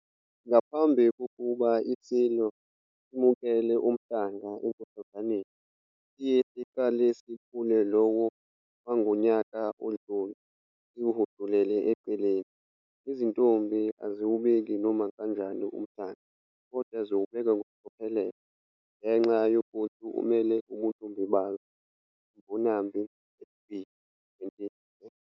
Ngaphambi kokuba iSilo simukele umhlanga eNkosazaneni siye siqale siphule lowo wangonyaka odlule siwuhudulele eceleni. Izintombi aziwubeki noma kanjani umhlanga kodwa ziwubeka ngokucophelela ngenxa yokuthi umele ubuntombi bazo. Mbonambi, H. B. 2010.